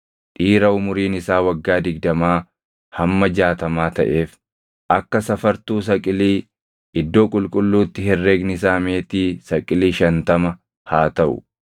dhiira umuriin isaa waggaa digdamaa hamma jaatamaa taʼeef, akka safartuu saqilii iddoo qulqulluutti herregni isaa meetii saqilii shantama haa taʼu.